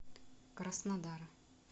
краснодара